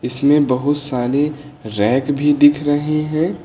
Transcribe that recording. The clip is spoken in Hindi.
इसमें बहुत सारे रैक भी दिख रहे हैं।